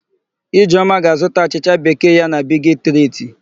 Ijeọma ga-azụta achịcha bekee ya na Bigi Triti.